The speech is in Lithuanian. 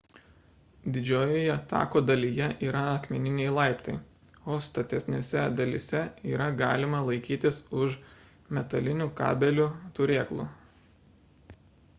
didžiojoje tako dalyje yra akmeniniai laiptai o statesnėse dalyse yra galima laikytis už metalinių kabelių turėklų